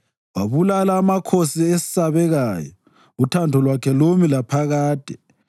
Wabulala amakhosi esabekayo, uthando lwakhe lumi laphakade,